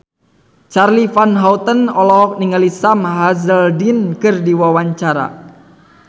Charly Van Houten olohok ningali Sam Hazeldine keur diwawancara